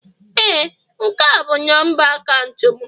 Ee, nke a bụ nọmba akaụntụ m